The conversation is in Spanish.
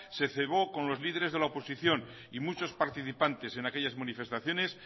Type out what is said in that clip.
se cebó con los líderes de la oposición y muchos participantes en aquellas manifestaciones